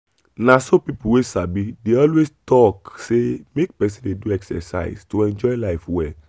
na so people wey sabi dey always talk say make person dey do exercise to enjoy life well.